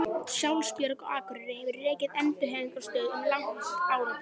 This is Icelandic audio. Sjálfsbjörg á Akureyri hefur rekið endurhæfingarstöð um langt árabil.